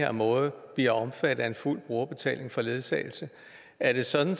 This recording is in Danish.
her måde bliver omfattet af en fuld brugerbetaling for ledsagelse er det sådan